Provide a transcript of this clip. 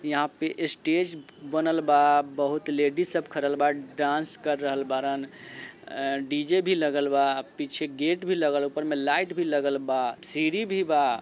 यहाँ पे स्टेज बनल बा बहुत लेडिज सब खडल बा डांस कर रहल बाड़न अ-डी.जे भी लगल बा पीछे गेट भी लगल ऊपर मे लाईट भी लगल बा सीडी भी बा।